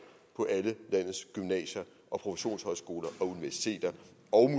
på alle landets gymnasier produktionshøjskoler universiteter og